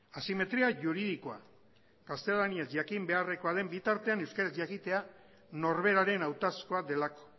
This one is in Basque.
asimetria juridikoa gaztelaniaz jakin beharrekoa den bitartean euskeraz jakitea norberaren hautazkoa delako